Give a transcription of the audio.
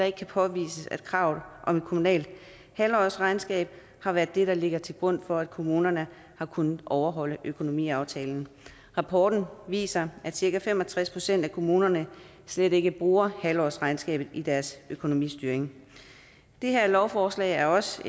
ikke kan påvises at kravet om et kommunalt halvårsregnskab har været det der ligger til grund for at kommunerne kunne overholde økonomiaftalen rapporten viser at cirka fem og tres procent af kommunerne slet ikke bruger halvårsregnskabet i deres økonomistyring det her lovforslag er også